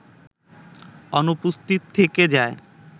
অনুপস্থিত থেকে যায়